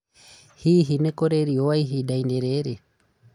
Hihi nĩ kũrĩ riũa ihinda-inĩ rĩrĩ?